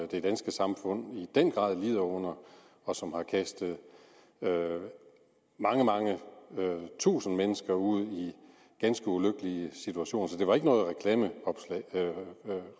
det danske samfund i den grad lider under og som har kastet mange mange tusind mennesker ud i en ganske ulykkelig situation så det var ikke noget